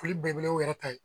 Foli belebele y'u yɛrɛ ta ye.